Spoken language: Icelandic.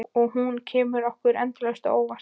Og hún kemur okkur endalaust á óvart.